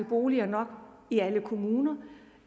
boliger i alle kommuner